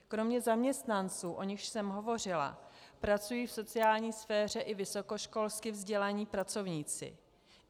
Kromě zaměstnanců, o nichž jsem hovořila, pracují v sociální sféře i vysokoškolsky vzdělaní pracovníci.